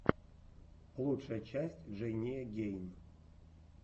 лучшая часть джейния гейн